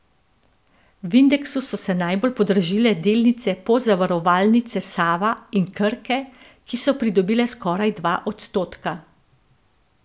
V indeksu so se najbolj podražile delnice Pozavarovalnice Sava in Krke, ki so pridobile skoraj dva odstotka.